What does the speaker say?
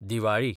Diwali